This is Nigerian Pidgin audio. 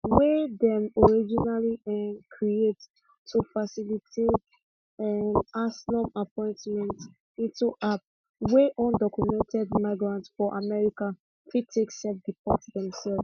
wey dem originally um create to facilitate um asylum appointment into app wey undocumented migrants for america fit take selfdeport themselves